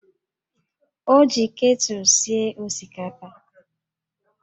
Ọ ji ketụlụ sie osikapa